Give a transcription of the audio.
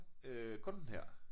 Øh kun her